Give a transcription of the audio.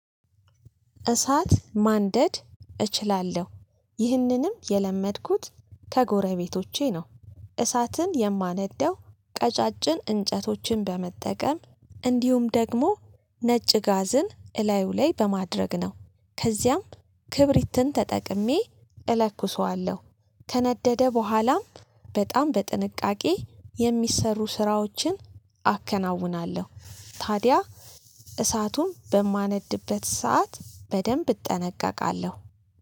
እሳት ማንደድ እችላለሁ። ይህንንም የለመድኩት ከጎረቤቶቼ ነው። እሳትን የማነደው ቀጫጭን እንጨቶችን በመጠቀም እንዲሁም ደግሞ ነጭ ጋዝን እላዩ ላይ በማድረግ ነው። ከዚያም ክብሪትን ተጠቅሜ እለኩሰዋለሁ። ከነደደ በኋላም በጣም በጥንቃቄ የሚሰሩ ስራዎችን አከናውናለሁ። ታዲያ እሳቱን በማነድበት ሰዓት በደንብ እጠነቀቃለሁ።